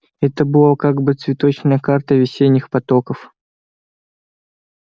это была как бы цветочная карта весенних потоков